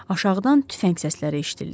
Aşağıdan tüfəng səsləri eşidildi.